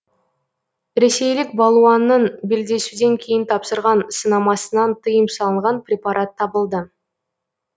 ресейлік балуанның белдесуден кейін тапсырған сынамасынан тыйым салынған препарат табылды